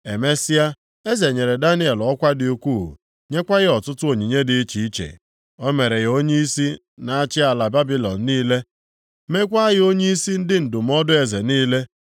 Emesịa eze nyere Daniel ọkwa dị ukwuu, nyekwa ya ọtụtụ onyinye dị iche iche. O mere ya onyeisi na-achị ala Babilọn niile, meekwa ya onyeisi ndị ndụmọdụ eze niile.